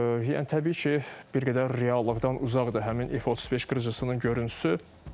Yəni təbii ki, bir qədər reallıqdan uzaqdır həmin F-35 qırıcısının görüntüsü.